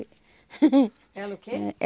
Ela o quê?